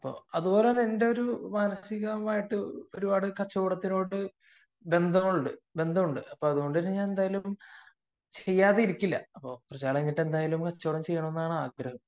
അതുപോലെ തന്നെ എന്റെ ഒരു മനസികമായിട്ട് ഒരുപാട് കച്ചവടത്തിനോട് ബന്ധമുണ്ട് അപ്പൊ അതുകൊണ്ട് തന്നെ ഞാൻ എന്തായാലും ചെയ്യാതിരിക്കില്ല കുറച്ചു കാലം കഴിഞ്ഞിട്ട് എന്തായാലും കച്ചവടം ചെയ്യണമെന്നാണ് ആഗ്രഹം